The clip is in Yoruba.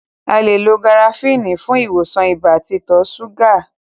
A le lo garafuni fún ìwòsàn ibà àti ìtọ súgà